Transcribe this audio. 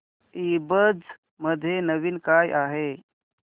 ईबझ मध्ये नवीन काय आहे